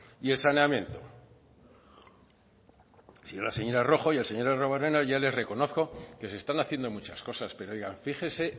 y el saneamiento si no la señora rojo y el señor arruabarrena yo les reconozco que se están haciendo muchas cosas pero oiga fíjese